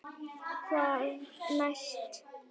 Hvað næst?